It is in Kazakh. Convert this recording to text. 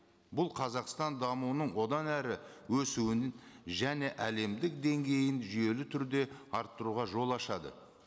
бұл қазақстан дамуының одан әрі өсуін және әлемдік деңгейін жүйелі түрде арттыруға жол ашады